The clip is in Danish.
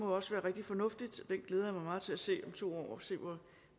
også være rigtig fornuftigt den glæder jeg mig til at se to år og se